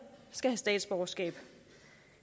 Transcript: skal have statsborgerskab